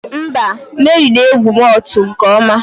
Mba, Mary na-egwu Whot nke ọma